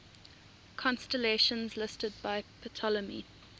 constellations listed by ptolemy